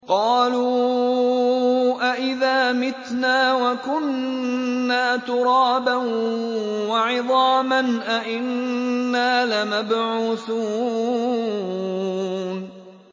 قَالُوا أَإِذَا مِتْنَا وَكُنَّا تُرَابًا وَعِظَامًا أَإِنَّا لَمَبْعُوثُونَ